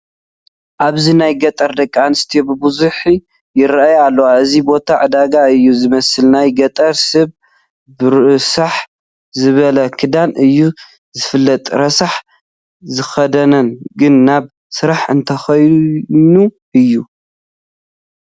ኣብዚ ናይ ገጠር ደቂ ኣንስትዮ ብበዝሒ ይርአያ ኣለዋ፡፡ እዚ ቦታ ዕዳጋ እዩ ዝመስል፡፡ ናይ ገጠር ሰብ ብርስሕ ዝበለ ክዳኑ እዩ ዝፍለጥ፡፡ ረሳሕ ዝኽደን ግን ናብ ስራሕ እንተኾይኑ እዩ፡፡